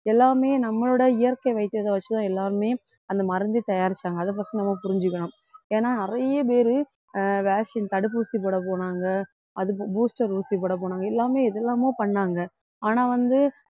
எல்லாமே நம்மளோட இயற்கை வைத்தியத்தை வச்சுதான் எல்லாருமே அந்த மருந்து தயாரிச்சாங்க அதை first நம்ம புரிஞ்சுக்கணும் ஏன்னா நிறைய பேரு ஆஹ் vaccine தடுப்பூசி போடப் போனாங்க அதுக்கு booster ஊசி போடப் போனாங்க எல்லாமே எது எல்லாமோ பண்ணாங்க ஆனா வந்து